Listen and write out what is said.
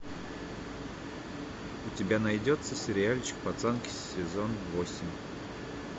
у тебя найдется сериальчик пацанки сезон восемь